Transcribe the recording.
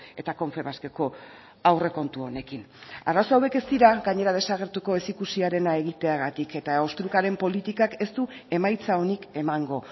eta confebaskeko aurrekontu honekin arazo hauek ez dira gainera desagertuko ezikusiarena egiteagatik eta ostrukaren politikak ez du emaitza onik emango